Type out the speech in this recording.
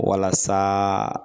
Walasa